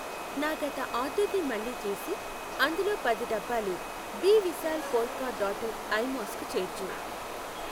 నా గత ఆర్డర్ని మళ్ళీ చేసి అందులో పది డబ్బాలు బి Vishal polka dotted eye mask చేర్చు.